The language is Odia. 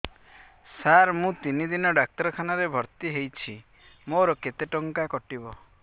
ସାର ମୁ ତିନି ଦିନ ଡାକ୍ତରଖାନା ରେ ଭର୍ତି ହେଇଛି ମୋର କେତେ ଟଙ୍କା କଟିବ